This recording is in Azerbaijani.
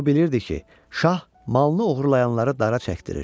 O bilirdi ki, şah malını oğurlayanları dara çəkdirir.